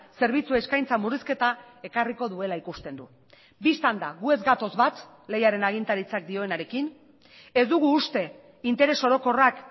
zerbitzu eskaintza murrizketa ekarriko duela ikusten du bistan da gu ez gatoz bat lehiaren agintaritzak dionarekin ez dugu uste interes orokorrak